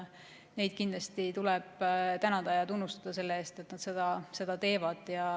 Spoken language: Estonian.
Neid tuleb tänada ja tunnustada selle eest, et nad seda teevad.